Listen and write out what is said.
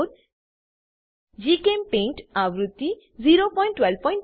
જીચેમ્પેઇન્ટ આવૃત્તિ 01210